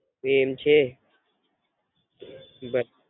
એ એમ છે ઘર.